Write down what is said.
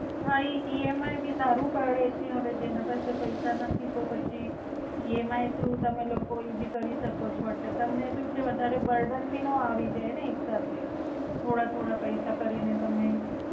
હા ઈ E M I ભી સારું પડે છે હવે જેના પાસે પૈસા નથી તો પછી ઈ એમ આઈ થ્રુ તમે લોકો ઈ ભી કરી શકો છો એટલે તમને સુ છે વધારે બુરદાન ભી નો આવી જાય ને એક સાથે, થોડા થોડા પૈસા કરીને તમે.